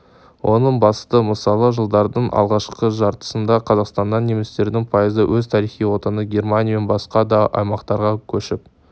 оның басты мысалы жылдардың алғашқы жартысында қазақстаннан немістердің пайызы өз тарихи отаны германия мен басқа да аймақтарға көшіп